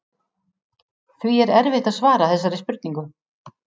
Því er erfitt að svara þessari spurningu.